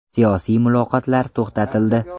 Siyosiy muloqotlar to‘xtatildi.